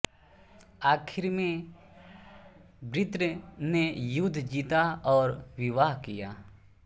आखिर में वृत्र ने युद्ध जीता और विवाह किया